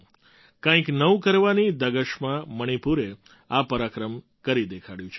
કંઈક નવું કરવાની ધગશમાં મણિપુરે આ પરાક્રમ કરી દેખાડ્યું છે